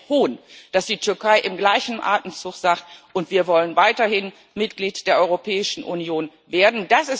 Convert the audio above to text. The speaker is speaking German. Es ist ein Hohn, dass die Türkei im gleichen Atemzug sagt Und wir wollen weiterhin Mitglied der Europäischen Union werden.